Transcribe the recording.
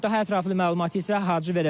Daha ətraflı məlumatı isə Hacı verəcək.